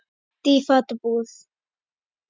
Auddi í fatabúð